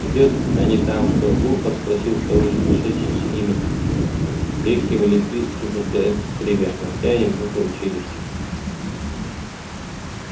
едят они там что глухо спросил второй пришедший с ними с лёгким электрическим потрескиванием скребя ногтями небритую челюсть